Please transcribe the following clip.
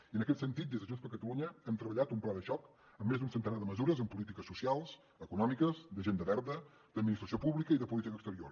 i en aquest sentit des de junts per catalunya hem treballat un pla de xoc amb més d’un centenar de mesures en polítiques socials econòmiques d’agenda verda d’administració pública i de política exterior